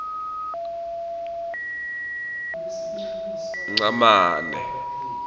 ngcamane